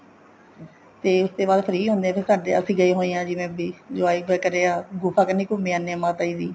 ਤੇ ਉਸ ਤੇ ਬਾਅਦ free ਹੁੰਦੇ ਹੈ ਫ਼ੇਰ ਸਾਡੇ ਅਸੀਂ ਗਏ ਹੋ ਹਾਂ ਜਿਵੇਂ ਵੀ enjoy ਕਰਿਆ ਗੁਫ਼ਾ ਕੰਨੀ ਘੁੰਮੇ ਆਂਦੇ ਹਾਂ ਮਾਤਾ ਜੀ ਦੀ